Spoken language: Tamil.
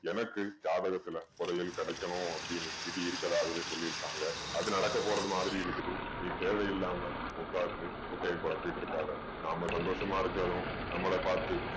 எனக்கு ஜாதகத்துல புதையல் கிடைக்கணும் அப்படீன்னு விதி இருக்கதாகவே சொல்லியிருக்காங்க. அது நடக்க போறது மாதிரி இருக்குது நீ தேவையில்லாம உட்கார்ந்து குட்டைய குழப்பிட்டிருக்காதே. நாம சந்தோஷமா இருக்கணும். நம்மள பாத்து